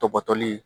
Tɔbɔtɔli